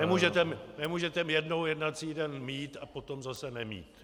Nemůžete jednou jednací den mít a potom zase nemít.